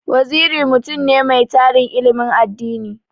Waziri mutum ne mai tarin ilimin addini.